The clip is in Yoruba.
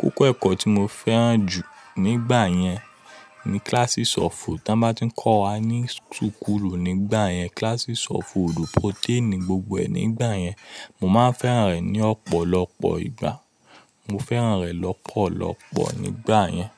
Kókó ẹ̀kọ́ tí mo fẹ́ràn jù nígbà yẹn ni classes of. Tí wọ́n bá tí ń kọ́ wa ní sùkúlù nígbà yẹn, classes of fòòdù protein gbogbo ẹ nígbà yẹn, mo máa ń fẹ́ràn rẹ̀ ní ọ̀pọ̀lọpọ̀ ìgbà. Mo fẹ́ràn rẹ̀ lọ́pọ̀lọpọ̀ nígbà yẹn.